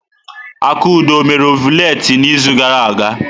Akudo ọ mere ọvụletị n'izu gara aga?